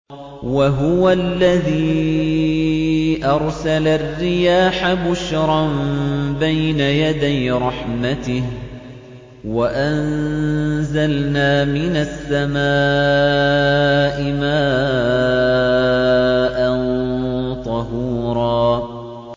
وَهُوَ الَّذِي أَرْسَلَ الرِّيَاحَ بُشْرًا بَيْنَ يَدَيْ رَحْمَتِهِ ۚ وَأَنزَلْنَا مِنَ السَّمَاءِ مَاءً طَهُورًا